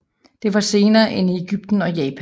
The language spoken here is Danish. Det var senere end i Egypten og Japan